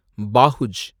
பாஹுஜ்